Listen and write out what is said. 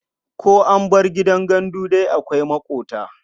Ko an bar gidan gandu dai akwai maƙota.